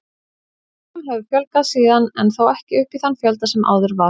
Íbúum hefur fjölgað síðan en þó ekki upp í þann fjölda sem áður var.